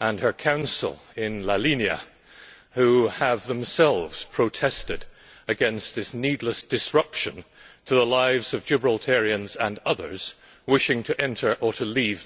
and her council who have themselves protested against this needless disruption to the lives of Gibraltarians and others wishing to enter or leave the territory.